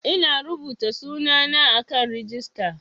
Ina rubuta sunana a kan rijista